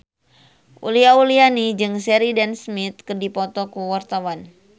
Uli Auliani jeung Sheridan Smith keur dipoto ku wartawan